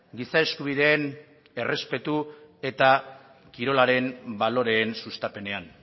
giza eskubideen errespetu eta kirolaren baloreen sustapenean